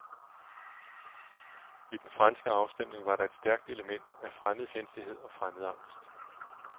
I den franske afstemning var der et stærkt element af fremmedfjendtlighed og fremmedangst.